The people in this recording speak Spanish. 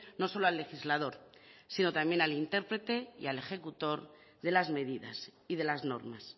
no solo al legislador sino también al intérprete y al ejecutor de las medidas y de las normas